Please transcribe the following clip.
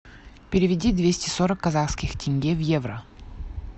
переведи двести сорок казахских тенге в евро